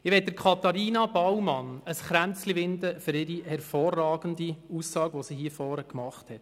Ich winde Katharina Baumann für ihre hervorragende Aussage hier am Rednerpult ein Kränzchen.